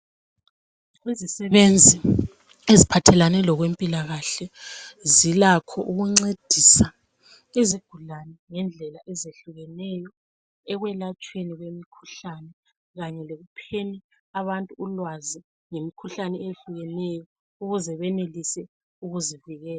Izisebenzi eziphathelane lezempilakahle zilakho ukuncedisa izigulane ngendlela ezehlukeneyo ekwelatshweni kwemikhuhlane kanye lekupheni abantu ulwazi ngemikhuhlane eyehlukeneyo ukuze benelise ukuzivikela.